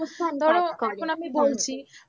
emotion কাজ করে ধরো এখন আমি বলছি